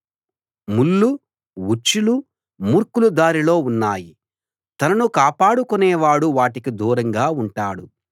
ముళ్ళు ఉచ్చులు మూర్ఖుల దారిలో ఉన్నాయి తనను కాపాడుకొనేవాడు వాటికి దూరంగా ఉంటాడు